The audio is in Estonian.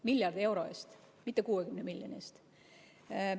Miljardi euro eest, mitte 60 miljoni eest.